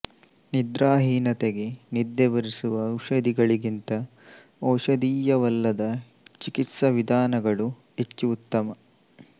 ನಿದ್ರಾಹೀನತೆಗೆ ನಿದ್ದೆಬರಿಸುವ ಔಷಧಗಳಿಗಿಂತ ಔಷಧೀಯವಲ್ಲದ ಚಿಕಿತ್ಸಾ ವಿಧಾನಗಳು ಹೆಚ್ಚು ಉತ್ತಮ